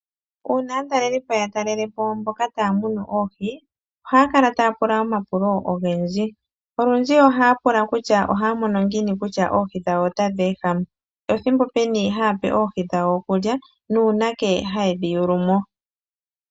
Uuna aatalelipo ya talelepo mboka taya munu oohi ohaya kala taya pula omapulo ogendji. Olundji ohaya pula kutya ohaya mono ngiini kutya Oohi dhawo otadhi ehama, ethimbo peni haya pe Oohi dhawo okulya nuunake haye dhi yuulu mo.